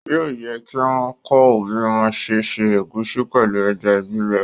Yóò yẹ kí wọ́n kọ́ ọ bí wọ́n ń ṣé ṣe ẹ̀gúsí pẹ̀lú ẹja gbígbẹ